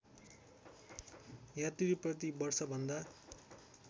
यात्री प्रति वर्षभन्दा